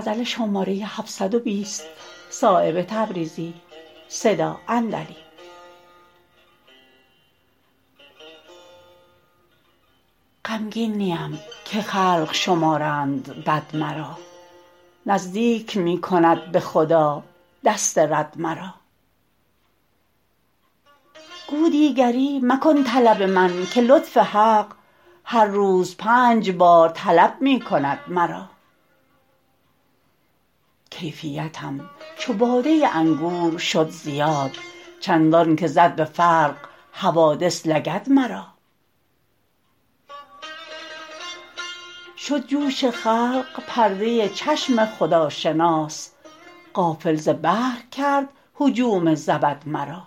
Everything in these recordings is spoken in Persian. غمگین نیم که خلق شمارند بد مرا نزدیک می کند به خدا دست رد مرا گو دیگری مکن طلب من که لطف حق هر روز پنج بار طلب می کند مرا کیفیتم چو باده انگور شد زیاد چندان که زد به فرق حوادث لگد مرا شد جوش خلق پرده چشم خداشناس غافل ز بحر کرد هجوم زبد مرا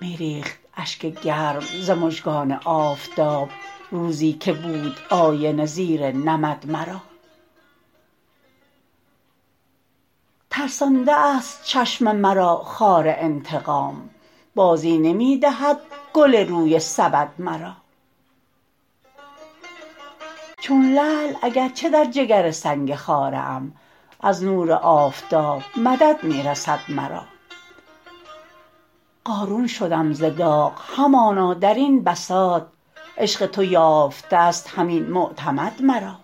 می ریخت اشک گرم ز مژگان آفتاب روزی که بود آینه زیر نمد مرا ترسانده است چشم مرا خار انتقام بازی نمی دهد گل روی سبد مرا چون لعل اگر چه در جگر سنگ خاره ام از نور آفتاب مدد می رسد مرا قارون شدم ز داغ همانا درین بساط عشق تو یافته است همین معتمد مرا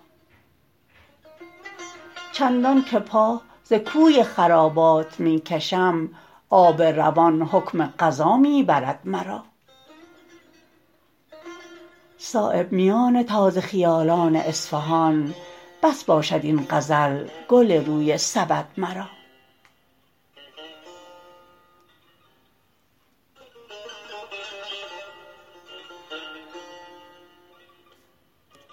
چندان که پا ز کوی خرابات می کشم آب روان حکم قضا می برد مرا صایب میان تازه خیالان اصفهان بس باشد این غزل گل روی سبد مرا